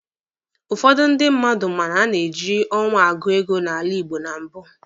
Ụfọdụ ndị mmadụ ma na a na-eji ọnwa agụ oge n'ala Igbo ma mbụ